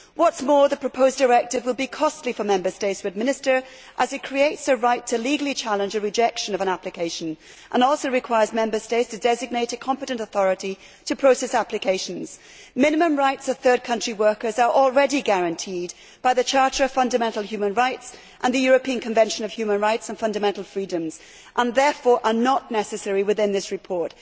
What is more, the proposed directive will be costly for Member States to administer as it creates a right to legally challenge a rejection of an application and also requires Member States to designate a competent authority to process applications. Minimum rights of third country workers are already guaranteed by the Charter of Fundamental Rights and the European Convention on Human Rights and Fundamental Freedoms and therefore are not necessary within this report.